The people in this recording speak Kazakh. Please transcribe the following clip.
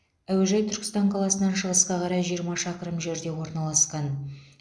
әуежай түркістан қаласынан шығысқа қарай жиырма шақырым жерде орналасқан